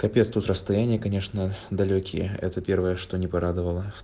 капец тут расстояние конечно далёкие это первое что не порадовало